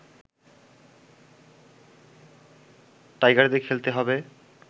টাইগারদের খেলতে হবে